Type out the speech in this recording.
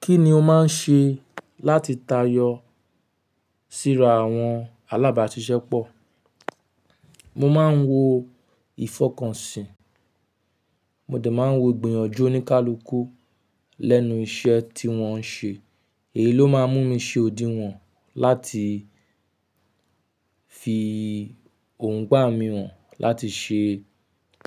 Kí ni o máa ń ṣe láti tayọ síra àwọn alábàáṣiṣẹ́ pọ̀? Mo máa ń wo ìfọkànsìn, mo dẹ̀ máa ń wo ìgbìyànjú oníkálukú lẹ́nu iṣẹ́ tí wọ́n ń ṣe. Èyí ló máa ń mú mi ṣe òdíwọn láti fi erongba mi hàn láti ṣe